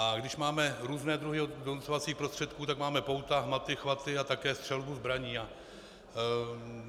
A když máme různé druhy donucovacích prostředků, tak máme pouta, hmaty, chvaty a také střelbu zbraní.